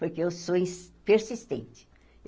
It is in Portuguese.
Porque eu sou ins persistente.